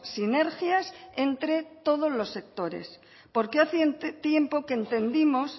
sinergias entre todos los sectores porque hace un tiempo que entendimos